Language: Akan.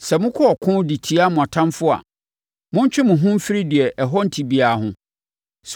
Sɛ mokɔ ɔko de tia mo atamfoɔ a, montwe mo ho mfiri deɛ ɛho nte biara ho.